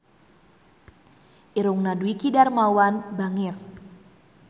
Irungna Dwiki Darmawan bangir